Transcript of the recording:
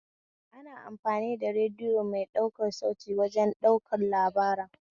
Ana amfani da radiyo mai ɗaukan sauti wajen ɗaukan labara